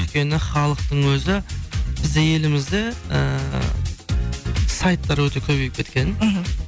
өйткені халықтың өзі бізде елімізде ыыы сайттар өте көбейіп кеткен мхм